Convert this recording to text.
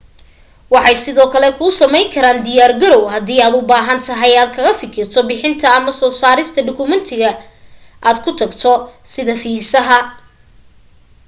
waxay sidoo kale kuu samayn karaan diyaar garaw hadii aad u baahantahay aad kaga fikirto bixinta ama soo saarista dhugmatiga aad ku tagayso sida fiisaha